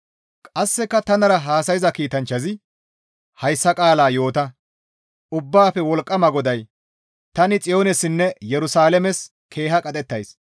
Qasseka tanara haasayza kiitanchchazi, «Hayssa qaalaa yoota; Ubbaafe Wolqqama GODAY, ‹Tani Xiyoonessinne Yerusalaames keeha qadhettays.